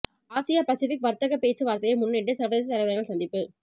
ஆசிய பசிபிக் வர்த்தக பேச்சு வார்த்தையை முன்னிட்டு சர்வதேச தலைவர்கள் சந்திப்பு